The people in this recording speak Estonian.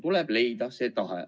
Tuleb leida tahe.